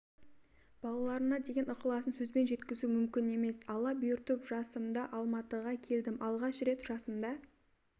балаларына деген ықыласын сөзбен жеткізу мүмкін емес алла бұйыртып жасымда алматыга келдім алгаш рет жасымда